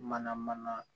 Mana mana